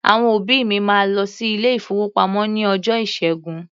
Àwọn òbí mi máa lọ sí ilé-ìfowópamọ́ ní ọjọ́ Ìṣẹ́gun.